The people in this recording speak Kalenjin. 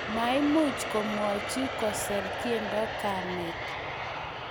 maimuch komwochi kuser tiendo kamet